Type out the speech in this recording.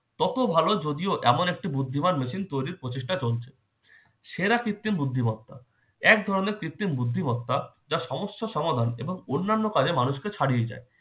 তত ভালো যদিও এমন একটি বুদ্ধিমান machine তৈরির প্রচেষ্টা চলছে। সেরা কৃত্রিম বুদ্ধিমত্তা- এক ধরনের কৃত্রিম বুদ্ধিমত্তা যা সমস্ত সমাধান এবং অন্যান্য কাজে মানুষকে ছাড়িয়া যায়।